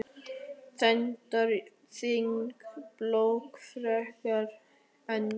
Reyndar þín plögg frekar en mín.